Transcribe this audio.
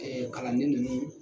kalannen ninnu